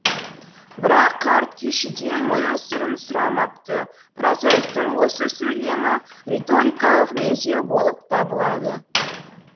бірақ қарт күйшіден мұның сырын сұрамапты прозаиктың осы сөйлемі риторикалық меңзеу болып табылады